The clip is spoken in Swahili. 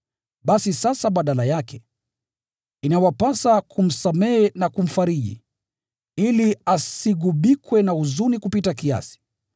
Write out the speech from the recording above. Basi sasa badala yake, inawapasa kumsamehe na kumfariji, ili asigubikwe na huzuni kupita kiasi.